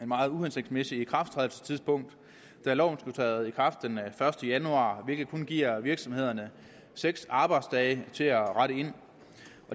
meget uhensigtsmæssigt ikrafttrædelsestidspunkt da loven skulle træde i kraft den første januar hvilket kun giver virksomhederne seks arbejdsdage til at rette ind